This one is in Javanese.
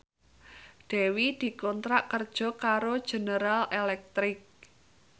Dewi dikontrak kerja karo General Electric